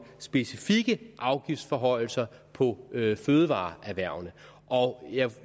specifikke afgiftsforhøjelser på fødevareerhvervene jeg